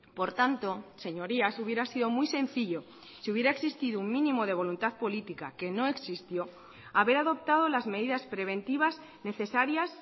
por tanto señorías hubiera sido muy sencillo si hubiera existido un mínimo de voluntad política que no existió haber adoptado las medidas preventivas necesarias